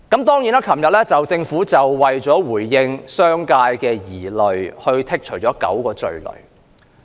昨天，政府為了回應商界的疑慮，剔走9項罪類。